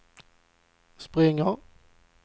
springer